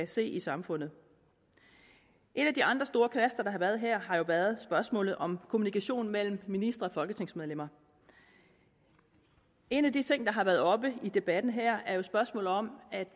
se i samfundet en af de andre store knaster der har været her har været spørgsmålet om kommunikationen mellem ministre og folketingsmedlemmer en af de ting der har været oppe i debatten her er jo spørgsmålet om at